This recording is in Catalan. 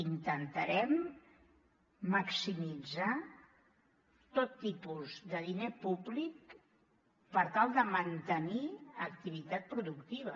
intentarem maximitzar tot tipus de diner públic per tal de mantenir activitat productiva